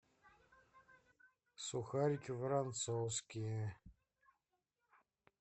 сухарики воронцовские